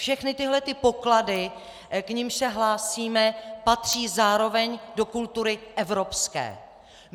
Všechny tyto poklady, k nimž se hlásíme, patří zároveň do kultury evropské.